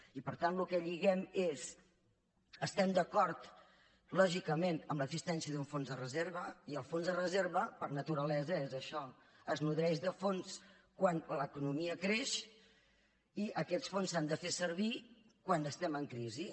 i per tant el que lliguem és estem d’acord lògicament amb l’existència d’un fons de reserva i el fons de reserva per naturalesa és això es nodreix de fons quan l’economia creix i aquests fons s’han de fer servir quan estem en crisi